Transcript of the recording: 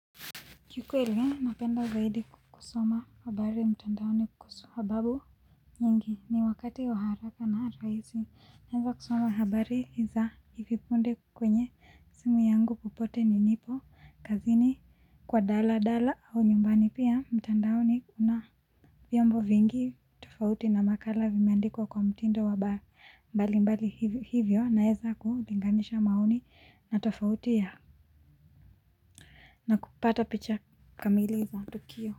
Kikweli napenda zaidi kusoma habari mtandaoni kwa babu nyingi ni wakati wa haraka na rahisi. Naweza kusoma habari za hivi punde kwenye simu yangu popote nilipo, kazini kwa daladala, au nyumbani pia mtandaoni kuna vyombo vingi tofauti na makala vimeandikwa kwa mtindo wa mbali mbali hivyo naweza kulinganisha maoni na tofauti ya na kupata picha kamili za tukio.